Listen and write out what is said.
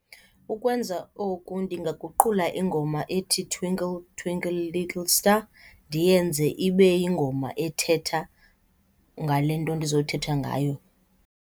Ukwenza oku ndingaguqula ingoma ethi, Twinkle Twinkle Little Star, ndiyenze ibe yingoma ethetha ngale nto ndizoyithetha ngayo.